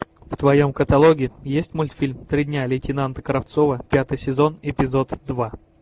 в твоем каталоге есть мультфильм три дня лейтенанта кравцова пятый сезон эпизод два